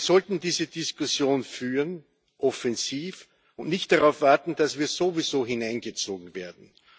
Wir sollten diese Diskussion offensiv führen und nicht darauf warten, dass wir sowieso hineingezogen werden.